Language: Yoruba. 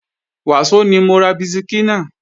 Wàsó ni mo ra bisikí náà